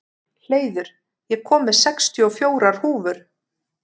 Hleiður, ég kom með sextíu og fjórar húfur!